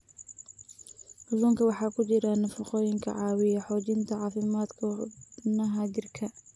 Kalluunka waxaa ku jira nafaqooyin caawiya xoojinta caafimaadka xubnaha jirka.